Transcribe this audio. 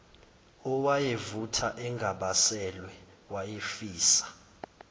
owayevutha engabaselwe wayefisa